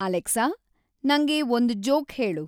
Alexa ನಂಗೆ ಒಂದ್ joke ಹೇಳು